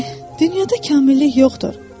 Dünayada kamillik yoxdur.